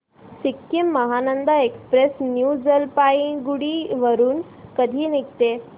Sikkim Mahananda Express New Jalpaiguri वरून कधी निघते